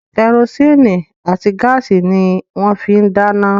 Kẹrosíìnì àti gáàsì ni wọ́n fín ń dáná